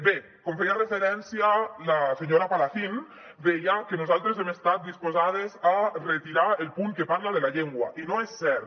bé com hi feia referència la senyora palacín deia que nosaltres hem estat disposades a retirar el punt que parla de la llengua i no és cert